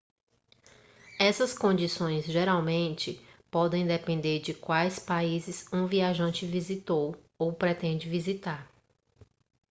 essas condições geralmente podem depender de quais países um viajante visitou ou pretende visitar